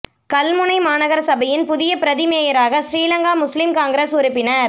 கல்முனை மாநகர சபையின் புதிய பிரதி மேயராக ஸ்ரீலங்கா முஸ்லிம் காங்கிரஸ் உறுப்பினர்